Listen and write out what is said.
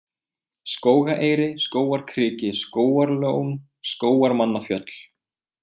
Skógaeyri, Skógarkriki, Skógarlón, Skógarmannafjöll